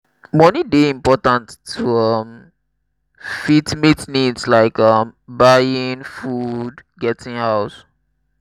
money dey important to um fit meet needs like um buying um food getting house